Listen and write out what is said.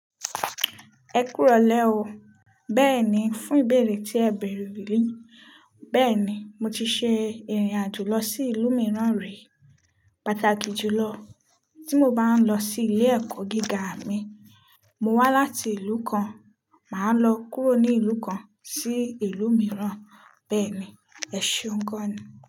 Ẹ kú ìrọ̀lẹ́ o. Bẹ́ẹ̀ni, fún ìbéèrè tí ẹ bèrè, bẹ́ẹ̀ni mo ti ṣe ìrìn àjò lọ sí ìlú mìíràn rí. Pàtàkì jùlọ tí mo bá ń lọ sí ilé ẹ̀kọ́ gíga mi. Mo wá láti ìlú kan, màá lọ kúrò ní ìlú kan sí ìlú mìíràn. Bẹ́ẹ̀ni, ẹṣe un gan ni.